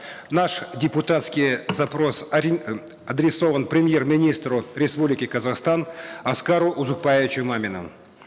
наш депутатский запрос адресован премьер министру республики казахстан аскару узакбаевичу мамину